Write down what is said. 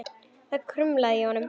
Það kumraði í honum.